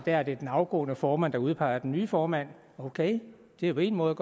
er det den afgående formand der udpeger den nye formand ok det er en måde